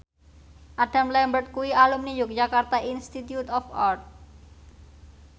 Adam Lambert kuwi alumni Yogyakarta Institute of Art